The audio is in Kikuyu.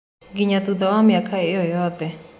Nginya thutha wa mĩaka ĩyo yothe.